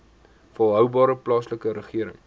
volhoubare plaaslike regering